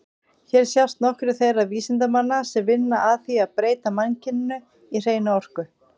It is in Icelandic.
Hér sjást nokkrir þeirra vísindamanna sem vinna að því að breyta mannkyninu í hreina orku.